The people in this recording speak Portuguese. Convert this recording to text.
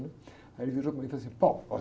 né? Aí ele virou para mim e falou assim, olha.